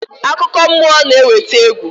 Akụkọ mmụọ na-eweta egwu.